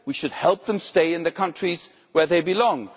We should help them stay in the countries where they belong.